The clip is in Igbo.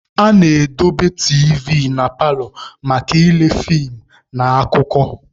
A na-edobe tiivi na paalọ maka ịle fiim na akụkọ.